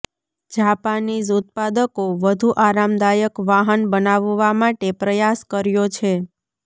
Japanese ઉત્પાદકો વધુ આરામદાયક વાહન બનાવવા માટે પ્રયાસ કર્યો છે